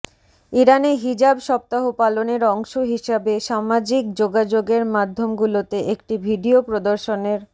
ইরানে হিজাব সপ্তাহ পালনের অংশ হিসেবে সামাজিক যোগাযোগের মাধ্যমগুলোতে একটি ভিডিও প্রদর্শনের